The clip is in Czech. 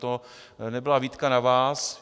To nebyla výtka na vás.